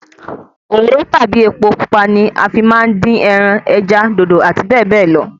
Òróró tàbí epo pupa ni a fi máa ń dín ẹran, ẹja, dòdò àti bẹ́ẹ̀ bẹ́ẹ̀ lọ